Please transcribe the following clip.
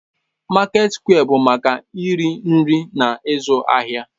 Market square bụ maka iri nri na ịzụ ahịa